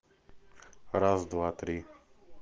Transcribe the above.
раз два три